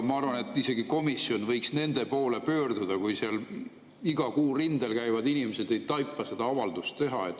Ma arvan, et isegi komisjon võiks nende poole pöörduda, kui seal iga kuu rindel käivad inimesed ei taipa seda avaldust teha.